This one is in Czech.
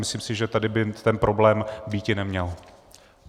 Myslím si, že tady by ten problém býti neměl.